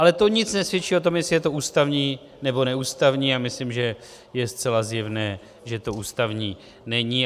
Ale to nic nesvědčí o tom, jestli je to ústavní, nebo neústavní, a myslím, že je zcela zjevné, že to ústavní není.